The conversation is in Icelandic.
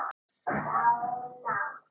Sá ná